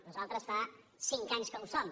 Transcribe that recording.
nosaltres fa cinc anys que ho som